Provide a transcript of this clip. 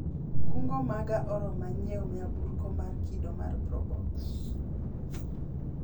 kungo maga oroma nyiewo nyamburko mar kido mar probox